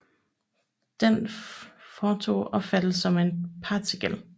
Den foton opfattes som en partikel